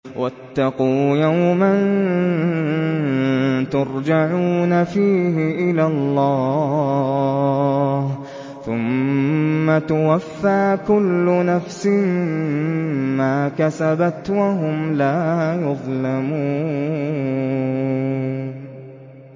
وَاتَّقُوا يَوْمًا تُرْجَعُونَ فِيهِ إِلَى اللَّهِ ۖ ثُمَّ تُوَفَّىٰ كُلُّ نَفْسٍ مَّا كَسَبَتْ وَهُمْ لَا يُظْلَمُونَ